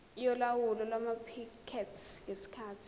yolawulo lwamaphikethi ngesikhathi